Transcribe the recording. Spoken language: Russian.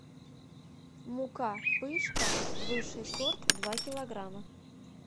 мука пышка высший сорт два килограмма